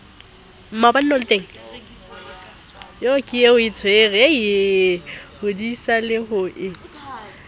ho disa le ho e